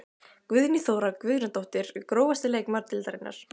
Guðný Þóra Guðnadóttir Grófasti leikmaður deildarinnar?